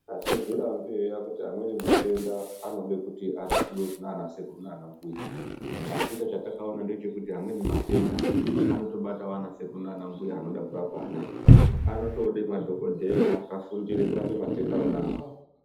Atizvirambi eya kuti amweni matenda anode kuti arapiwe kunana sekuru nanambuya asika chatakaona ndechekuti amweni matenda anotobatawo anasekuru nanambuya anode kurapa anoaya anotode madhokodheya akafundire kurapa matenda wona awawo.